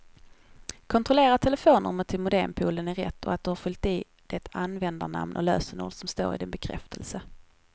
Kontrollera att telefonnumret till modempoolen är rätt och att du har fyllt i det användarnamn och lösenord som står i din bekräftelse.